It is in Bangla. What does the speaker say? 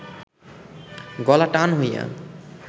গলা টান হইয়া